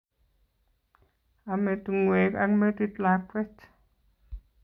Ame tungwek ak metit lakwet